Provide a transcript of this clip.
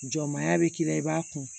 Jɔmaya bɛ k'i la i b'a kun